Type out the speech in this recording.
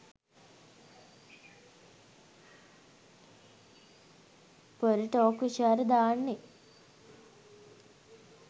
පොර ටෝක් විචාර දාන්නේ